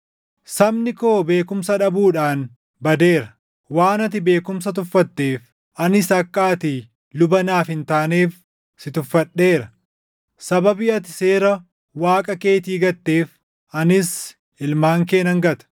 sabni koo beekumsa dhabuudhaan badeera. “Waan ati beekumsa tuffatteef anis akka ati luba naaf hin taaneef si tuffadheera; sababii ati seera Waaqa keetii gatteef anis ilmaan kee nan gata.